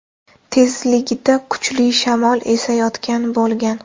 tezligida kuchli shamol esayotgan bo‘lgan.